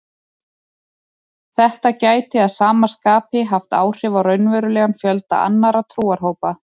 Þetta gæti að sama skapi haft áhrif á raunverulegan fjölda annarra trúarhópa.